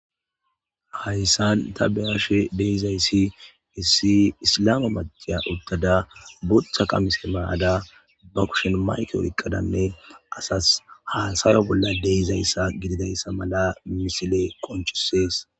Hayssan ta be'she dizzayssi issi isilama maccashiya uttada botha qamisse mayadda be kushen maykke oykkadda asas hasayashe dizzayssa misilley qoncisses.